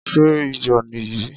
Ṣé iyò nì yìí?